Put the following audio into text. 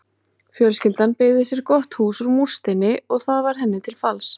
Fjölskyldan byggði sér gott hús úr múrsteini og það varð henni til falls.